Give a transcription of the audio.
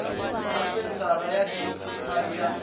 na senthara ya dti ya